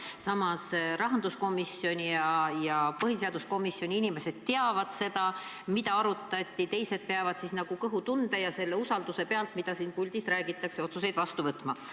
Samas, rahanduskomisjoni ja põhiseaduskomisjoni inimesed teavad, mida arutati, teised peavad aga nagu kõhutunde pealt ja usaldades seda, mida siin puldis räägitakse, otsuseid vastu võtma.